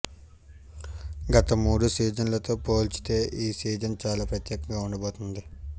గత మూడు సీజన్లతో పోల్చితే ఈ సీజన్ చాలా ప్రత్యేకంగా ఉండబోతుంది